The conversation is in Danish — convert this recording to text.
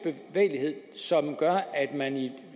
bevægelighed som gør at man i